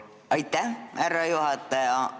Aitäh, härra juhataja!